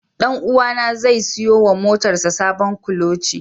Ɗanuwa na zai siyo wa motar sa sabon kuloci.